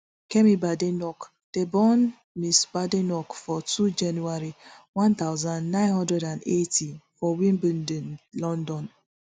kemi badenoch dem born ms badenoch for two january one thousand, nine hundred and eighty for wimbledon london